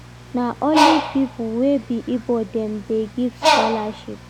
Na only pipo wey be Igbo dem dey give scholarship.